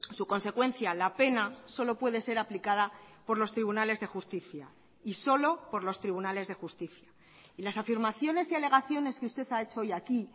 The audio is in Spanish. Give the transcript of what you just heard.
su consecuencia la pena solo puede ser aplicada por los tribunales de justicia y solo por los tribunales de justicia y las afirmaciones y alegaciones que usted ha hecho hoy aquí